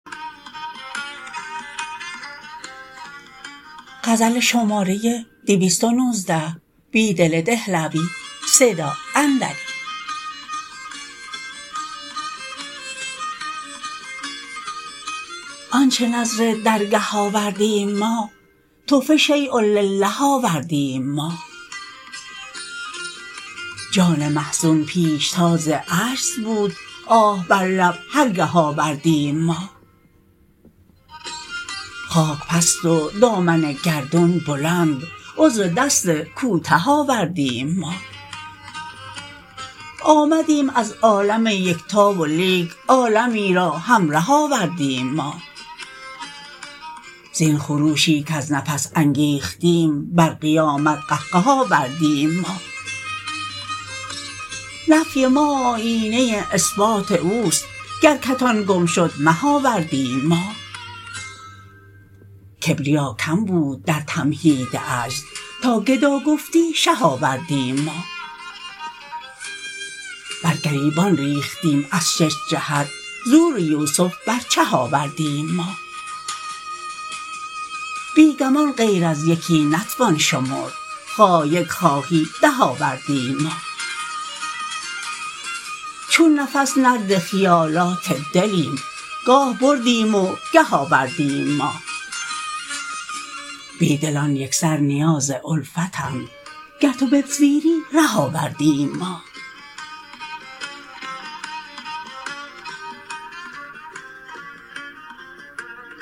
آنچه نذر درگه آوردیم ما تحفه شییالله آوردیم ما جان محزون پیشتاز عجز بود آه بر لب هرگه آوردیم ما خاک پست و دامن گردون بلند عذر دست کوته آوردیم ما آمدیم از عالم یکتا و لیک عالمی را همره آوردیم ما زین خروشی کز نفس انگیختیم بر قیامت قهقه آوردیم ما نفی ما آیینه اثبات اوست گرکتان گم شد مه آوردیم ما کبریاکم بود درتمهید عجز تاگدا گفتی شه آوردیم ما برگریبان ریختیم از شش جهت زور یوسف بر چه آوردیم ما بی گمان غیر از یکی نتوان شمرد خواه یک خواهی ده آوردیم ما چون نفس نرد خیالات دلیم گاه بردیم وگه آوردیم ما بیدلان یکسر نیاز الفتند گر تو بپذیری ره آوردیم ما